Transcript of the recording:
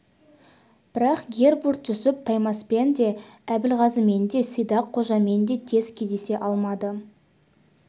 бірақ гербурт-жүсіп таймаспен де әбілғазымен де сидақ қожамен де тез кездесе алмады